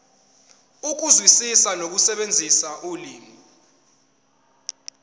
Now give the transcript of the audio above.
ukuzwisisa nokusebenzisa ulimi